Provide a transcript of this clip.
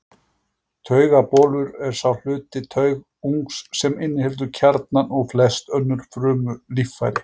Taugabolur er sá hluti taugungs sem inniheldur kjarnann og flest önnur frumulíffæri.